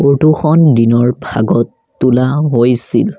Photo খন দিনৰ ভাগত তোলা হৈছিল।